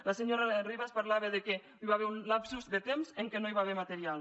la senyora ribas parlava que hi va haver un lapse de temps en què no hi va haver material